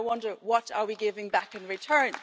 I wonder what are we giving back in return?